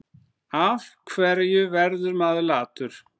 Af hverju verður maður latur?